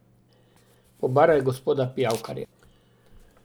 Pobaraj gospoda Pijavkarja.